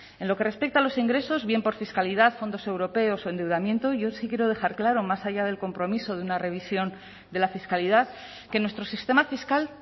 en lo que respecta a los ingresos bien por fiscalidad fondos europeos o endeudamiento yo sí quiero dejar claro más allá del compromiso de una revisión de la fiscalidad que nuestro sistema fiscal